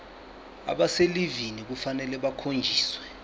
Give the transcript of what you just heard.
abaselivini kufanele bakhonjiswe